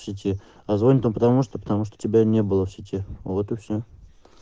позвоню потому что потому что тебя не было в сети вот и все